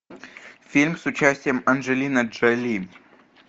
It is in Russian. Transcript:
фильм с участием анджелины джоли